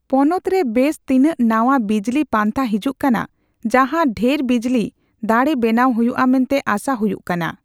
ᱯᱚᱱᱚᱛ ᱨᱮ ᱵᱮᱥ ᱛᱤᱱᱟᱹᱜ ᱱᱟᱣᱟ ᱵᱤᱡᱞᱤ ᱯᱟᱱᱛᱷᱟ ᱦᱤᱡᱩᱜ ᱠᱟᱱᱟ ᱡᱟᱸᱦᱟ ᱰᱷᱮᱨ ᱵᱤᱡᱞᱤ ᱫᱟᱲᱮ ᱵᱮᱱᱟᱣ ᱦᱩᱭᱩᱜᱼᱟ ᱢᱮᱱᱛᱮ ᱟᱥᱟ ᱦᱩᱭᱩᱜ ᱠᱟᱱᱟ ᱾